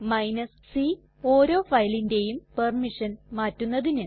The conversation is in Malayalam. c ഓരോ ഫയലിന്റേയും പെർമിഷൻ മാറ്റുന്നതിന്